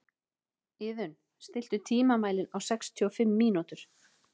Iðunn, stilltu tímamælinn á sextíu og fimm mínútur.